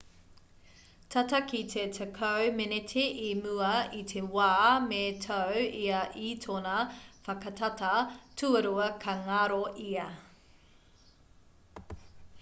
tata ki te tekau meneti i mua i te wā me tau ia i tōna whakatata tuarua ka ngaro ia